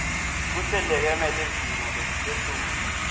kuhleleke ngelizinga lelisetulu